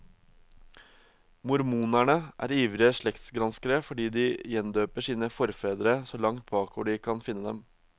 Mormonerne er ivrige slektsgranskere fordi de gjendøper sine forfedre så langt bakover de kan finne dem.